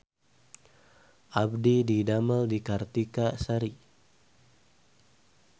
Abdi didamel di Kartika Sari